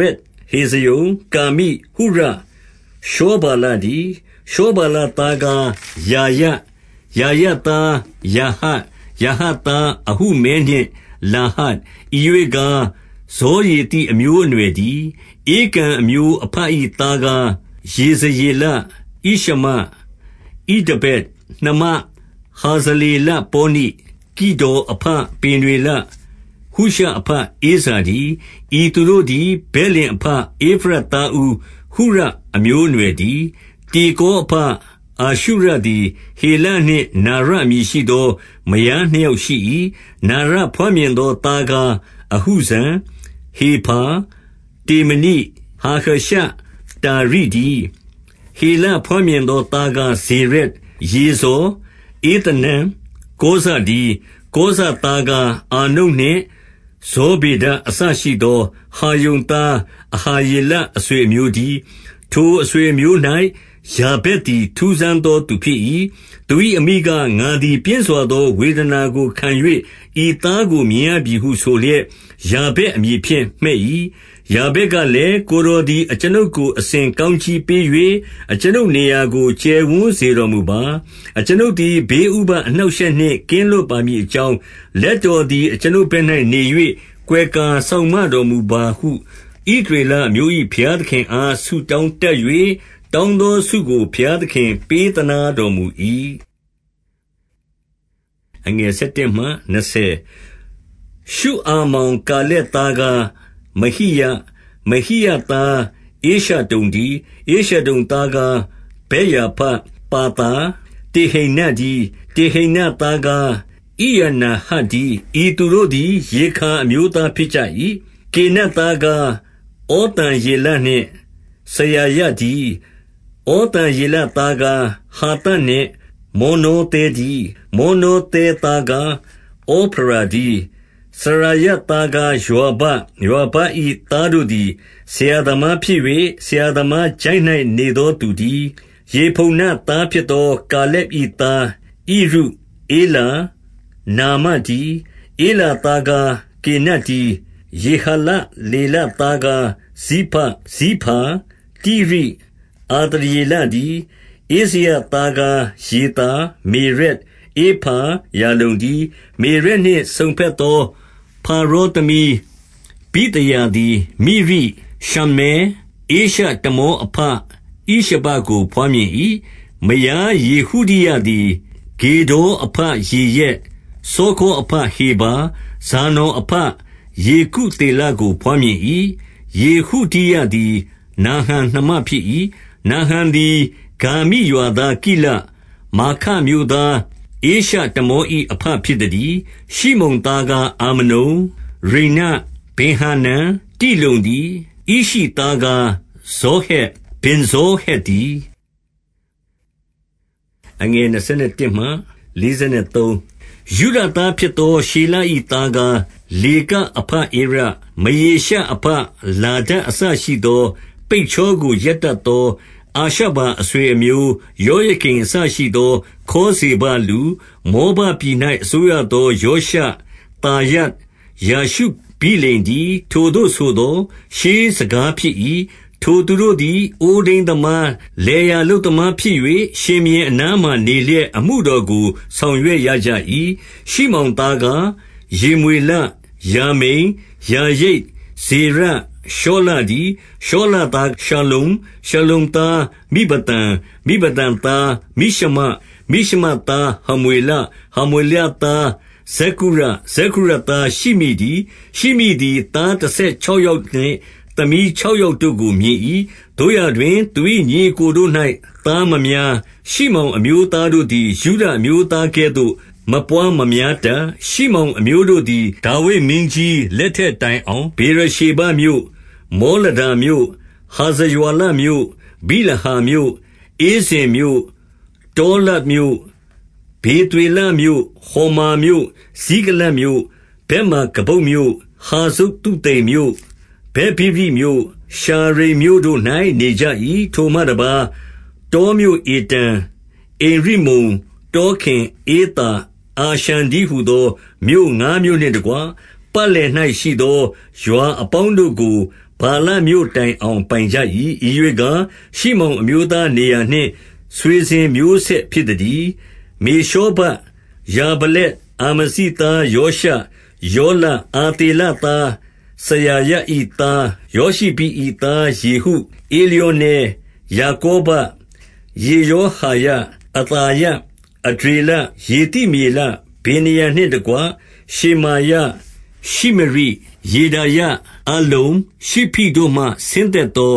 ရက်၊ ဟေဇရုံ၊ ကာမိ၊ ဟုရ၊ ရှောဗာလတည်း။ ရှောဗာလသားကား ရာယ၊ ရာယသားယာဟတ်၊ ယာဟတ်သား အဟုမဲနှင့်လာဟဒ်၊ ဤရွေ့ကား ဇောရသိ အမျိုးအနွယ်တည်း။ ဧကံအမျိုးအဘ၏ သားကား ယေဇရေလ၊ ဣရှမ၊ ဣဒဗတ်၊ နှမဟာဇလေလပေါနိ၊ ဂေဒေါ်အဘပေနွေလ၊ ဟုရှအဘ ဧဇာတည်း။ ဤသူတို့သည် ဗက်လင်အဘ၊ ဧဖရတ်သားဦး ဟုရအမျိုး အနွှယ်တည်း။ တေကော အဘ အာရှုရသည် ဟေလနှင့် နာရ အမည်ရှိသော မယားနှစ်ယောက်ရှိ၏။ နာရဘွားမြင်သော သားကား အဟုဇံ၊ ဟေဖာ၊ တေမနိ၊ ဟာဟရှတာရိတည်း။ ဟေလဘွားမြင်သော သားကား ဇေရက်၊ ယေဇော်၊ ဧသနန်၊ ကောဇတည်း။ ကောဇသားကား အာနုပ်နှင့် ဇောဗေဒ အစရှိ သော ဟာရုံသား အဟာရေလ အဆွေအမျိုးတည်း။ ထိုအဆွေအမျိုး၌ ယာဗက်သည် ထူးဆန်းသော သူဖြစ်၏။ သူ၏အမိက၊ ငါသည်ပြင်းစွာသော ဝေဒနာကို ခံ၍ ဤသားကို မြင်ရပြီဟုဆိုလျက်၊ ယာဗက်အမည်ဖြင့် မှည့်၏။ ယာဗက်ကလည်း၊ ကိုယ်တော်သည် အကျွန်ုပ်ကို အစဉ်ကောင်းကြီးပေး၍၊ အကျွန်ုပ်နေရာကို ကျယ်ဝန်း စေတော်မူပါ။ အကျွန်ုပ်သည် ဘေးဥပဒ်အနှောင့် အရှက်နှင့်ကင်းလွတ်ပါမည်အကြောင်း၊ လက်တော်သည် အကျွန်ုပ်ဘက်၌နေ၍ ကွယ်ကာစောင့်မတော်မူပါဟု ဣသရေလအမျိုး၏ ဘုရားသခင်အား ဆုတောင်းတတ်၍၊ တောင်းသောဆုကို ဘုရားသခင်ပေးသနားတော်မူ၏။ ရှုအာမောင် ကာလက်သားကား မဟိရ၊ မဟိရ သား ဧရှတုန်တည်း။ ဧရှတုန်သားကား ဗက်ရာဖ၊ ပါသာ၊ တေဟိန္န တည်း။ တေဟိန္နသားကား ဣရနာဟတ်တည်း။ ဤသူတို့ သည် ရေခါအမျိုးသားဖြစ်ကြ၏။ ကေနတ်သားကား ဩသံယေလနှင့်စရာယ တည်း။ ဩသံယေလသားကား ဟာသတ်နှင့်မောနောသဲ တည်း။ မောနောသဲသားကား ဩဖရာတည်း။ စရာယ သားကား ယွာဘ၊ ယွာဘ၏သားတို့သည် ဆရာသမား ဖြစ်၍ ဆရာသမားချိုင့်၌ နေသောသူတည်း။ ယေဖုန္နသားဖြစ်သောကာလက်၏ သားကား ဣရု၊ ဧလာ၊ နာမတည်း။ ဧလာသားကားကေနတ်တည်း။ ယေဟလလေလသားကား ဇိဖ၊ ဇိဖာ၊ တိရိ၊ အာသရေလတည်း။ ဧဇရသားကားယေသာ၊ မေရက်၊ ဧဖာ၊ ယာလုန်တည်း။ မေရက်နှင့် စုံဘက်သောဖာရောသမီး ဗိသဟာသည် မိရိ၊ ရှမ္မဲ၊ ဧရှတမောအဘ ဣရှဘကို ဘွားမြင်၏။ မယား ယေဟုဒိယသည် ဂေဒေါ်အဘယေရက်၊ စောခေါအဘ ဟေဗာ၊ ဇာနော်အဘ ယေကုသေလကို ဘွားမြင်၏။ ယေဟုဒိယသည် နာဟံနှမဖြစ်၏။ နာဟံသည် ဂါမိရွာသား ကိလ၊ မာခမြို့သား ဧရှတမော၏အဘ ဖြစ်သတည်း။ ရှိမုန်သားကား အာမနုန်၊ ရိန္န၊ ဗင်္ဟာနန်၊ တိလုန် တည်း။ ဣရှိသားကား ဇောဟက်၊ ဗဇောဟက်တည်း။ ယုဒသားဖြစ်သော ရှေလ၏သားကား လေက အဘဧရ၊ မရေရှအဘ လာဒအစရှိသော ပိတ်ချောကို ရက်တတ်သော အာရှဗာအဆွေအမျိုး၊ ယောယကိမ်အစရှိသော ခေါဇေဘလူ၊ မောဘ ပြည်၌ အစိုးရသော ယောရှ၊ သာရပ်၊ ယာရှုဗိလင်တည်း။ ထိုသို့ဆိုသော် ရှေးစကားဖြစ်၏။ ထိုသူတို့သည် အိုးထိန်း သမား၊ လယ်ယာလုပ်သမားဖြစ်၍၊ ရှင်ဘုရင်အနားမှာ နေလျက် အမှုတော်ကို ဆောင်ရွက်ရကြ၏။ ရှိမောင်သားကား ယေမွေလ၊ ယာမိန်၊ ယာရိပ်၊ ဇေရ၊ ရှောလတည်း။ ရှောလသား ရှလ္လုံ၊ ရှလ္လုံသားမိဘသံ၊ မိဘသံသား မိရှမ၊ မိရှမသား ဟမွေလ၊ ဟမွေလသား ဇက္ကုရ၊ ဇက္ကုရသား ရှိမိတည်း။ ရှိမိသည် သားတဆယ်ခြောက်ယောက်နှင့် သမီး ခြောက်ယောက်တို့ကို မြင်၏။ သို့ရာတွင် သူ၏ညီအစ်ကို တို့၌ သားမများ။ ရှိမောင်အမျိုးသားတို့သည် ယုဒ အမျိုးသားကဲ့သို့ မပွါးမများတတ်။ ရှိမောင်အမျိုးတို့သည် ဒါဝိဒ်မင်းကြီးလက်ထက် တိုင်အောင် ဗေရရှေဘမြို့၊ မောလဒါမြို့၊ ဟာဇရွာလမြို့၊ ဗိလဟာမြို့၊ ဧဇင်မြို့၊ ဗတာလဒ်မြို့၊ ဗေသွေလမြို့၊ ဟော်မာမြို့၊ ဇိကလတ်မြို့၊ ဗက်မာကဗုတ်မြို့၊ ဟာဇသုသိမ်မြို့၊ ဗက်ဗိရိမြို့၊ ရှာရိမ်မြို့ တို့၌ နေကြ၏။ ထိုမှတပါး၊ တောမြို့ဧတံ၊ အင်ရိမ္မုန်၊ တောခင်၊ ဧသာ၊ အာရှန်တည်းဟူသော မြို့ငါးမြို့နှင့်တကွ၊ ပတ်လည်၌ရှိသော ရွာအပေါင်းတို့ကို ဗာလမြို့ တိုင်အောင် ပိုင်ကြ၏။ ဤရွေ့ကား၊ ရှိမောင်အမျိုးသား နေရာနှင့် ဆွေစဉ်မျိုးဆက်ဖြစ်သတည်း။ မေရှောဗပ်၊ ယာမလက်၊ အာမဇိသားယောရှ၊ ယောလ၊ အာသေလသား စရာယ၏ သား ယောရှိဘိ၏သား ယေဟု၊ ဧလျောနဲ၊ ယာကောဘ၊ ယေရှောဟာယ၊ အသာယ၊ အဒျေလ၊ ယေသိမျေလ၊ ဗေနာယနှင့်တကွ၊ ရှေမာယ၊ ရှိမရိ၊ ယေဒါယ၊ အလ္လုန်၊ ရှိဖိတို့မှ ဆင်းသက်သော